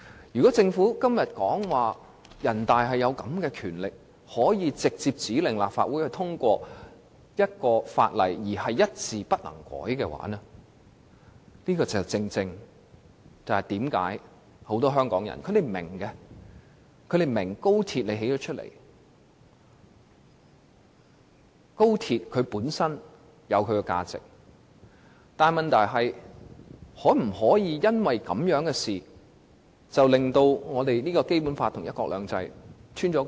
如果政府今天說人大有權直接指令立法會通過一項法例，而且一字不能修改，這正是為何很多香港人雖然明白興建高鐵本身的價值，卻質疑高鐵導致《基本法》與"一國兩制"出現漏洞的原因。